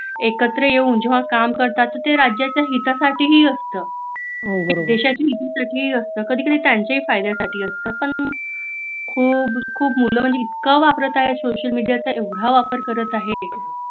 एकत्र येऊन जेव्हा काम करत असतात ते राज्याच्या हितासाठी ही असत देशाच हितासाठी ही असत कधी कधी त्यांच्याही फायद्यासाठी असत पण खूप मिला म्हंजे इतका वापर करत आहे सोशल मेडिया चा एवढा वापर‌ करत आहेत